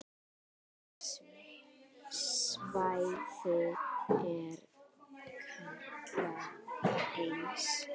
Þetta svæði er kallað Fens.